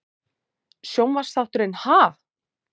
Sjónvarpsþátturinn Ha?